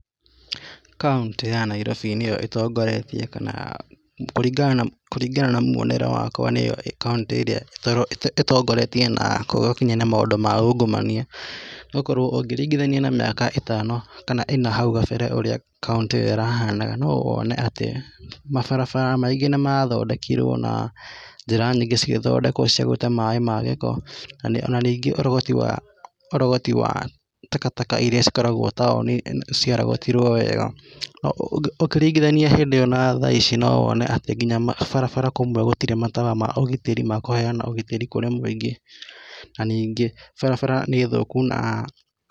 Kauntĩ ya Nairobi nĩyo ĩtongoretie kũringana na mwonere wakwa nĩ kauntĩ ĩrĩa ĩtongoretie na kũthũkia na maũndũ ma ungumania ,ũngĩringithania na mĩaka ĩtano kana ĩna hau kabere kauntĩ ĩyo ĩrahanaga no wone atĩ mabarabara maingĩ nĩmathondekirwo na njĩra nyingĩ cĩgĩthondekwa cia gũte maĩ ma gĩko ona ningĩ ũrogoti wa takataka irĩa cikoragwo taũni cia thondekirwe wega. Ũkĩringithania hĩndĩ ĩyo na thaa ici no wone atĩ nginya barabara kũmwe gũtirĩ matawa ma ũgitĩri makoheana ũgitĩri kũrĩ mũingĩ na ningĩ barabara nĩ thũku na.